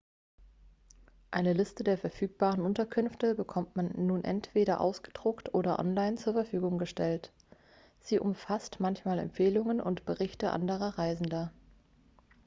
eine liste der verfügbaren unterkünfte bekommt man nun entweder ausgedruckt oder online zur verfügung gestellt sie umfasst manchmal empfehlungen und berichte anderer reisender